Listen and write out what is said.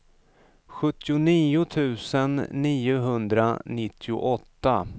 sjuttionio tusen niohundranittioåtta